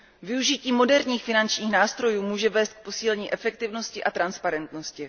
Využití moderních finančních nástrojů může vést k posílení efektivnosti a transparentnosti.